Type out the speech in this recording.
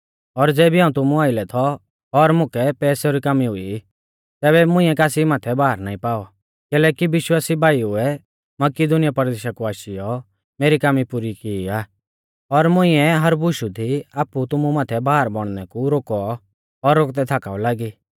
और ज़ेबी हाऊं तुमु आइलै थौ और मुकै पैसेऊ री कामी हुई तैबै भी मुंइऐ कासी माथै भार नाईं पाऔ कैलैकि विश्वासी भाईउऐ मकिदुनीया परदेशा कु आशीयौ मेरी कामी पुरी की आ और मुंइऐ हर बुशु दी आपु तुमु माथै भार बौणनै कु रोकौ और रोकदै थाकाऊ लागी